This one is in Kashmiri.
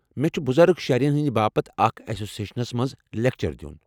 مےٚ چُھ بزرگ شہرین ہٕنٛد باپتھ اکھ ایسوسیشنس منٛز لیکچر دِیُن۔